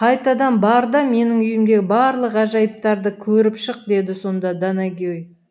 қайтадан бар да менің үйімдегі барлық ғажайыптарды көріп шық деді сонда данагей